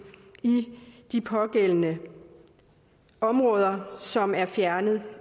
i de pågældende områder som er fjernet